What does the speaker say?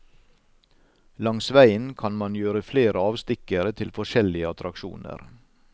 Langs veien kan man gjøre flere avstikkere til forskjellige attraksjoner.